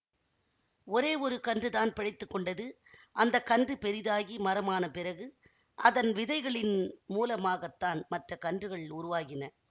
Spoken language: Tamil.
ஒரே ஒரு கன்றுதான் பிழைத்து கொண்டது அந்த கன்று பெரிதாகி மரம் ஆனபிறகு அதன் விதைகளின் மூலமாக தான் மற்ற கன்றுகள் உருவாகின